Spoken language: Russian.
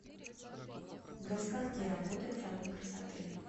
до скольки работает салон красоты